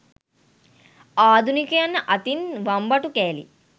ආධුනිකයන් අතින් වම්බටු කෑලි